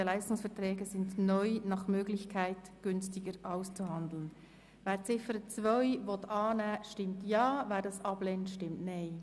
Wer die Ziffer 2 in der neuen Formulierung annehmen will, stimmt Ja, wer dies ablehnt, stimmt Nein.